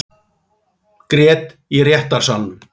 Grét í réttarsalnum